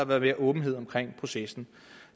været mere åbenhed om processen